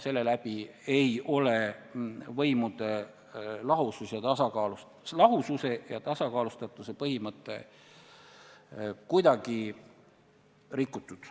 Selle läbi ei ole võimude lahususe ja tasakaalustatuse põhimõtet kuidagi rikutud.